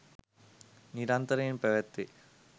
නිරන්තරයෙන් පැවැත්වේ.